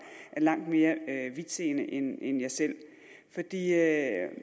langt mere vidtseende end jeg selv er